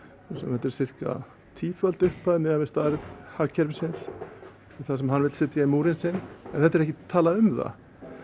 þetta er sirka tíföld upphæð miðað við stærð hagkerfisins það sem hann vill setja í múrinn sinn en þetta er ekkert talað um það